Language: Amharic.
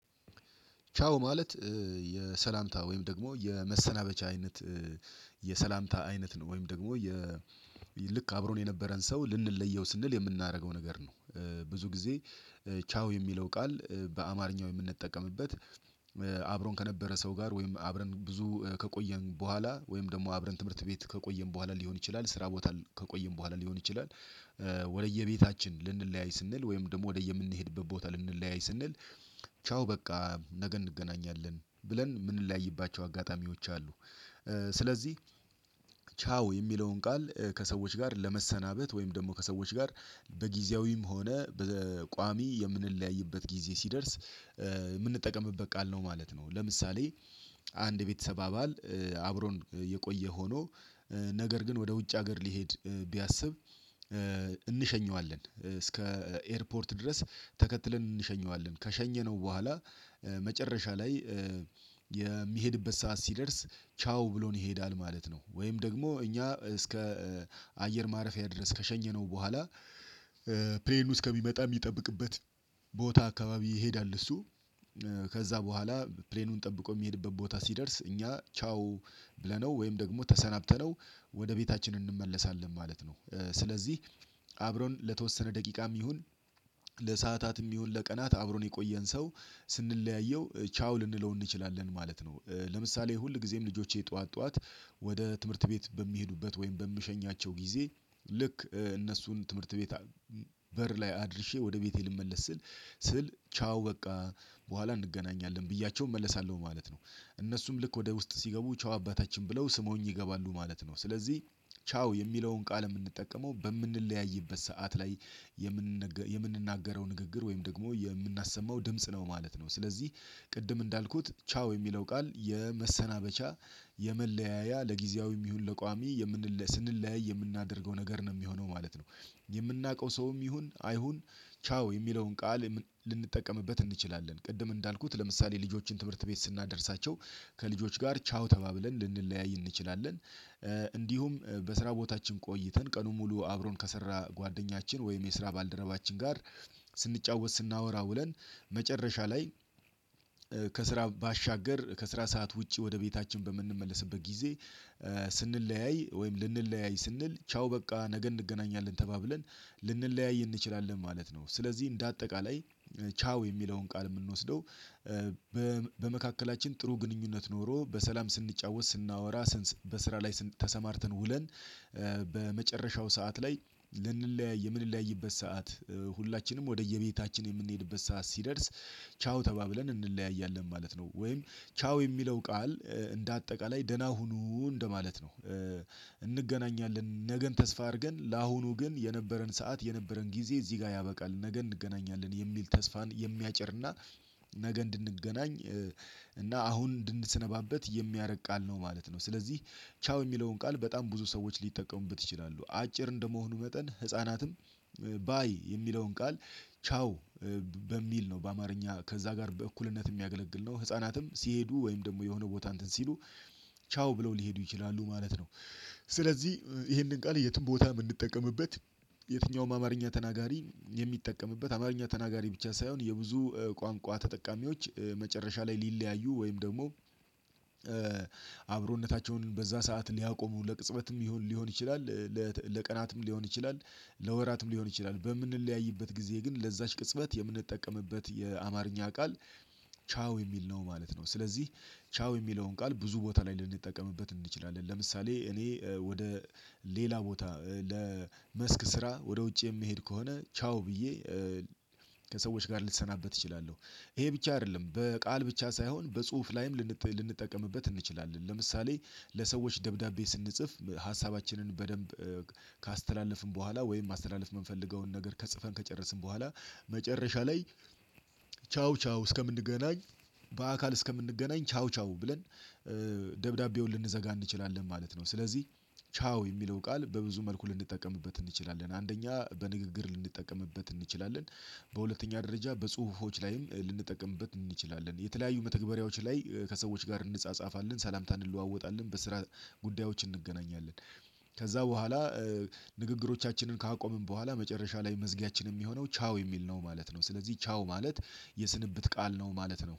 ቻው ማለት የሰላምታ ወይም ደግሞ የመሰናበቻ አይነት የሰላምታ አይነት ነው። ወይም ደግሞ የ ልክ አብሮን የነበረን ሰው ልንለየው ስንል የምናደርገው ነገር ነው። ብዙ ጊዜ ቻው የሚለው ቃል በአማርኛው የምንጠቀምበት አብሮን ከነበረ ሰው ጋር ወይም አብረን ብዙ ከቆየን በኋላ፤ ወይም ደግሞ አብረን ትምህርት ቤት ከቆየን በኋላ ሊሆን ይችላል፤ ስራ ቦታ ከቆየን በኋላ ሊሆን ይችላል ወደየቤታችን ልንለያይ ስንል፤ ወይም ደግሞ ወደየምንሄድበት ቦታ ልንለያይ ስንል ቻው በቃ ነገ እንገናኛለን ብለን የምንለያይባቸው አጋጣሚዎች አሉ። ስለዚህ ቻው የሚለውን ቃል ከሰዎች ጋር ለመሰናበት ወይም ደግሞ ከሰዎች ጋር በጊዜያዊም ሆነ በቋሚ የምንለያይበት ጊዜ ሲደርስ የምንጠቀምበት ቃል ነው ማለት ነው። ለምሳሌ አንድ የቤተሰብ አባል አብሮን የቆየ ሆኖ ነገር ግን ወደ ውጭ ሀገር ሊሄድ ቢያስብ እንሸኘዋለን እስከ ኤርፖርት ድረስ ተከትለን እንሸኘዋለን። ከሸኘነው በኋላ መጨረሻ ላይ የሚሄድበት ሰዓት ሲደርስ ቻው ብሎን ይሄዳል ማለት ነው። ወይም ደግሞ እኛ እስከ አየር ማረፊያ ድረስ ከሸኘነው በኋላ ፕሌኑ እስከሚመጣ ሚጠብቅበት ቦታ አካባቢ ይሄዳል እሱ ከዛ በኋላ ፕሌኑን ጠብቆ ሚሄድበት ቦታ ሲደርስ እኛ ቻው ብለነው ወይም ደግሞ ተሰናብተነው ወደ ቤታችን እንመለሳለን ማለት ነው። ስለዚህ አብሮን ለተወሰነ ደቂቃም ይሁን ለሰአታትም ይሁን ለቀናት አብሮን የቆየን ሰው ስንለያየው ቻው ልንለው እንችላለን ማለት ነው። ለምሳሌ ሁልጊዜም ልጆቼ ጧት ጧት ወደ ትምህርት ቤት በሚሄዱበት ወይም በምሸኛቸው ጊዜ ልክ እነሱን ትምህርት ቤት በር ላይ አድርሼ ወደ ቤቴ ልመለስ ስል ስል ቻው በቃ በኋላ እንገናኛለን ብያቸው እመለሳለሁ ማለት ነው። እነሱም ልክ ወደ ውስጥ ሲገቡ ቻው አባታችን ብለው ስመውኝ ይገባሉ ማለት ነው። ስለዚህ ቻው የሚለውን ቃል የምንጠቀመው በምንለያይበት ሰዓት ላይ የምንናገረው ንግግር ወይም ደግሞ የምናሰማው ድምጽ ነው ማለት ነው። ስለዚህ ቅድም እንዳልኩት ቻው የሚለው ቃል የመሰናበቻ የመለያያ ለጊዜያዊም ይሁን ለቋሚ ስንለያይ የምናደርገው ነገር ነው ሚሆነው ማለት ነው። የምናውቀው ሰውም ይሁን አይሁን ቻው የሚለውን ቃል ልንጠቀምበት እንችላለን። ቅድም እንዳልኩት ለምሳሌ ልጆችን ትምህርት ቤት ስናደርሳቸው ከልጆች ጋር ቻው ተባብለን ልንለያይ እንችላለን እንዲሁም በስራ ቦታችን ቆይተን ቀኑን ሙሉ አብሮን ከሰራ ጓደኛችን ወይም የስራ ባልደረባችን ጋር ስንጫወት ስናወራ ውለን መጨረሻ ላይ ከስራ ባሻገር ከስራ ሰዓት ውጪ ወደ ቤታችን በምንመለስበት ጊዜ ስንለያይ ወይም ልንለያይ ስንል ቻው በቃ ነገ እንገናኛለን ተባብለን ልንለያይ እንችላለን ማለት ነው። ስለዚህ እንደ አጠቃላይ ቻው የሚለውን ቃል ምንወስደው በመካከላችን ጥሩ ግንኙነት ኖሮ በሰላም ስንጫወት ስናወራ በስራ ላይ ተሰማርተን ውለን በመጨረሻው ሰዓት ላይ ልንለያይ የምንለያይበት ሰዓት ሁላችንም ወደየቤታችን የምንሄድበት ሰዓት ሲደርስ ቻው ተባብለን እንለያያለን ማለት ነው። ወይም ቻው የሚለው ቃል እንደ አጠቃላይ ደህና ሁኑ እንደማለት ነው። እንገናኛለን ነገን ተስፋ አድርገን ለአሁኑ ግን የነበረን ሰዓት የነበረን ጊዜ እዚህ ጋ ያበቃል ነገ እንገናኛለን የሚል ተስፋን የሚያጭርና ነገ እንድንገናኝ እና አሁን እንድንሰነባበት የሚያረግ ቃል ነው ማለት ነው። ስለዚህ ቻው የሚለውን ቃል በጣም ብዙ ሰዎች ሊጠቀሙበት ይችላሉ። አጭር እንደመሆኑ መጠን ህፃናትም ለሰአታትም ይሁን ለቀናት አብሮን የቆየን ሰው ስንለያየው ቻው ልንለው እንችላለን ማለት ነው። ለምሳሌ ሁልጊዜም ልጆቼ ጧት ጧት ወደ ትምህርት ቤት በሚሄዱበት ወይም በምሸኛቸው ጊዜ ቻው ብለው ሊሄዱ ይችላሉ ማለት ነው። ስለዚህ ይሄንን ቃል የትም ቦታ ምንጠቀምበት የትኛውም አማርኛ ተናጋሪ የሚጠቀምበት አማርኛ ተናጋሪ ብቻ ሳይሆን የብዙ ቋንቋ ተጠቃሚዎች መጨረሻ ላይ ሊለያዩ ወይም ደግሞ አብሮነታቸውን በዛ ሰዓት ሊያቆሙ ለቅጽበትም ሊሆን ይችላል ለቀናትም ሊሆን ይችላል፤ ለወራትም ሊሆን ይችላል በምንለያይበት ጊዜ ግን ለዛች ቅጽበት የምንጠቀምበት የአማርኛ ቃል ቻው የሚል ነው ማለት ነው። ስለዚህ ቻው የሚለውን ቃል ብዙ ቦታ ላይ ልንጠቀምበት እንችላለን። ለምሳሌ እኔ ወደ ሌላ ቦታ ለመስክ ስራ ወደ ውጭ የምሄድ ከሆነ ቻው ብዬ ከሰዎች ጋር ልሰናበት እችላለሁ። ይሄ ብቻ አይደለም በቃል ብቻ ሳይሆን በጽሁፍ ላይም ልንጠቀምበት እንችላለን። ለምሳሌ ለሰዎች ደብዳቤ ስንጽፍ ሀሳባችንን በደንብ ካስተላለፍን በኋላ ወይም ማስተላለፍ የምንፈልገውን ነገር ከጽፈን ከጨረስን በኋላ መጨረሻ ላይ ቻው ቻው እስከምንገናኝ በአካል እስከምንገናኝ ቻው ቻው ብለን ደብዳቤውን ልንዘጋ እንችላለን ማለት ነው። ስለዚህ ቻው የሚለው ቃል በብዙ መልኩ ልንጠቀምበት እንችላለን። አንደኛ በንግግር ልንጠቀምበት እንችላለን በሁለተኛ ደረጃ በጽሁፎች ላይም ልንጠቀምበት እንችላለን፤ የተለያዩ መተግበሪያዎች ላይ ከሰዎች ጋር እንጻጻፋለን፤ ሰላምታ እንለዋወጣለን፤ በስራ ጉዳዮች እንገናኛለን ከዛ በኋላ ንግግሮቻችንን ካቆምን በኋላ መጨረሻ ላይ መዝጊያችን የሚሆነው ቻው የሚል ነው ማለት ነው። ስለዚህ ቻው ማለት የስንብት ቃል ነው ማለት ነው።